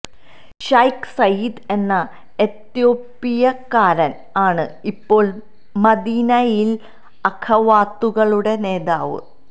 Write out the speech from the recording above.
Sheikh Saeed എന്ന എത്യോപ്പിയക്കാരന് ആണ് ഇപ്പോള് മദീനയിലെ അഖവാത്തുകളുടെ നേതാവ്